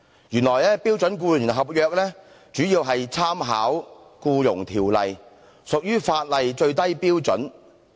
原來標準僱傭合約主要參考《僱傭條例》，屬於法例最低標準。